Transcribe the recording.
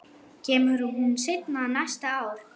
Kemur hún seinna næsta ár?